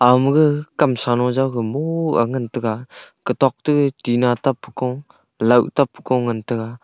ama ga kam sa lo jau ga mo a ngan tega katok te tina tap pe ko laoh tap pe ko ngan tega.